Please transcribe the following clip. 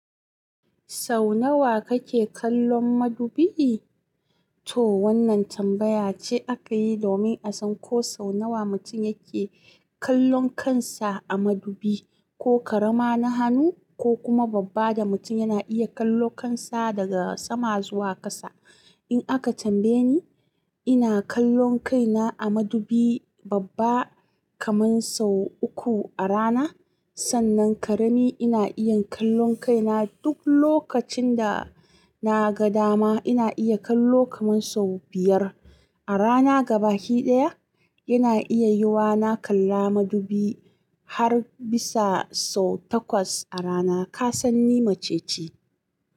Sau nawa kake kallon madubi? To wannan tambaya ce aka yi domin a san ko sau nawa mutum yake kallon kansa a madubi, ko karama na hannu, ko kuma babba da mutum yana iya kallo kansa daga sama zuwa ƙasa. In aka tambaye ni, ina kallon kaina a madubi babba kaman sau uku a rana. Sannan karami ina iya kallon kaina duk lokacin dana ga dama. Ina iya kallo kaman sau biyar a rana. Gabaki ɗaya yana iya yiwa na kalla madubi har bisa sau takwas a rana. Ka san ni mace ce.